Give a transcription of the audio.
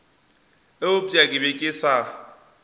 eupša ke be ke sa